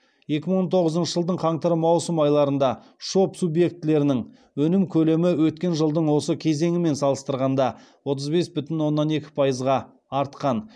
екі мың он тоғызыншы жылдың қаңтар маусым айларында шоб субъектілерінің өнім көлемі өткен жылдың осы кезеңімен салыстырғанда отыз бес бүтін оннан екі пайызға артқан